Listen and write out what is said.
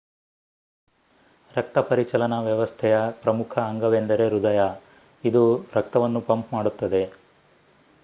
ರಕ್ತಪರಿಚಲನಾ ವ್ಯವಸ್ಥೆಯ ಪ್ರಮುಖ ಅಂಗವೆಂದರೆ ಹೃದಯ ಇದು ರಕ್ತವನ್ನು ಪಂಪ್ ಮಾಡುತ್ತದೆ